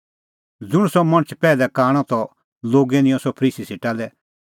ज़ुंण सह मणछ पैहलै कांणअ त लोगै निंयं सह फरीसी सेटा लै